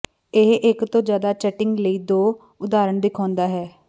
ਇਹ ਇਕ ਤੋਂ ਜਿਆਦਾ ਚੀਟਿੰਗ ਲਈ ਦੋ ਉਦਾਹਰਣ ਦਿਖਾਉਂਦਾ ਹੈ